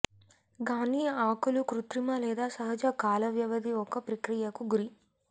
గానీ ఆకులు కృత్రిమ లేదా సహజ కాలవ్యవధి ఒక ప్రక్రియకు గురి